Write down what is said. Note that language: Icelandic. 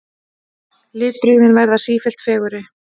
Litbrigðin verða sífellt fegurri.